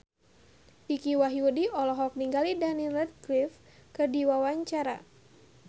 Dicky Wahyudi olohok ningali Daniel Radcliffe keur diwawancara